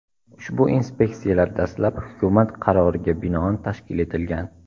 Ushbu inspeksiyalar dastlab hukumat qaroriga binoan tashkil etilgan.